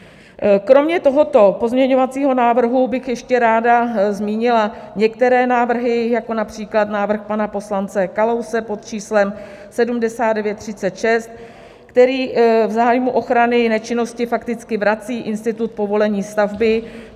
Kromě tohoto pozměňovacího návrhu bych ještě ráda zmínila některé návrhy jako například návrh pana poslance Kalouse pod číslem 7936, který v zájmu ochrany nečinnosti fakticky vrací institut povolení stavby.